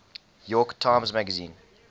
york times magazine